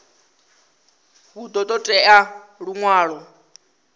hu ḓo ṱo ḓea luṅwalo